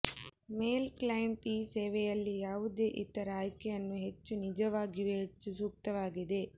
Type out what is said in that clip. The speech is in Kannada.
ಮೇಲ್ ಕ್ಲೈಂಟ್ ಈ ಸೇವೆಯಲ್ಲಿ ಯಾವುದೇ ಇತರ ಆಯ್ಕೆಯನ್ನು ಹೆಚ್ಚು ನಿಜವಾಗಿಯೂ ಹೆಚ್ಚು ಸೂಕ್ತವಾಗಿದೆ